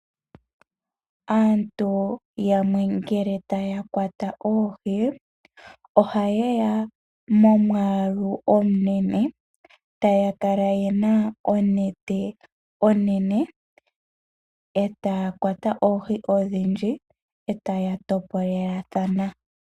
Aantu yamwe ngele taya kwata oohi oha ye ya momwaalu omunene taya kala yena onete onene, etaya kwata oohi odhindji eta ya topolelathana.